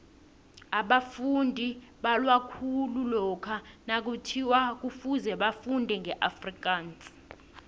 abafundi balwa khulu lokha nakuthiwa kufuze bafunde ngeafrikaans